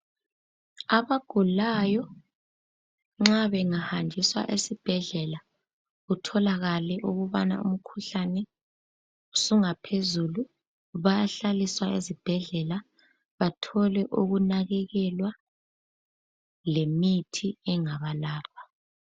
abagulayo nxa benahanjiswa esibhedlela kutholakale ukuba umkhuhlane usungaphezulu bayahlaliswa ezibhedlela bathole ukunakekelwa lemithi engabalapha